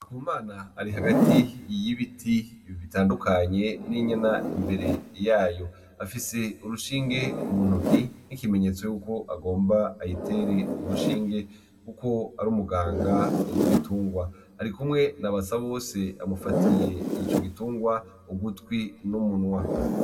Ndikumana ari hagati y'ibiti bitandukanye n'inyana imbere yayo afise urushinge mu ntoki nkikimenyetso yuko agomba ayitere urushinge kuko ari umuganga w'ibitungwa arikumwe na Basabose amufatiye ico gitungwa ugutwi n'umunwa.